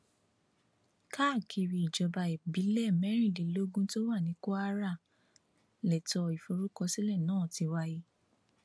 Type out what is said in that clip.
káàkiri ìjọba ìbílẹ mẹrìndínlógún tó wà ní kwara lẹtọ ìforúkọsílẹ náà ti wáyé